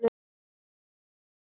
Ég spyr hvað gerðist?